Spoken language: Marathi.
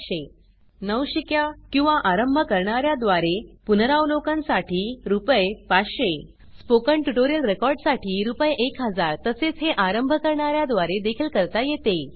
3500 नवशिक्या किंवा आरंभ करणार्या द्वारे पुनरावलोकन साठी रुपये 500 स्पोकन ट्युटोरियल रेकॉर्ड साठी रुपये 1000 - तसेच हे आरंभ करणार्या द्वारे देखील करता येते